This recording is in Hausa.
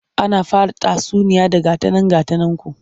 Ana fara tatsuniya da 'Ga ta nan ga ta nanku'